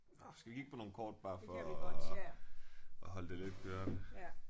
Nåh skal vi kigge på nogle kort bare for at at holde det lidt kørende